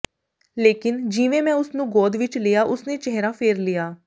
ਲੇਕਿਨ ਜਿਵੇਂ ਮੈਂ ਉਸਨੂੰ ਗੋਦ ਵਿੱਚ ਲਿਆ ਉਸਨੇ ਚਿਹਰਾ ਫੇਰ ਲਿਆ